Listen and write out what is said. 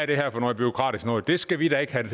det her for noget bureaukratisk noget det skal vi da ikke have